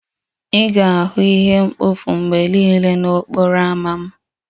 Ị ga-ahụ ihe mkpofu mgbe niile n'okporo ámá m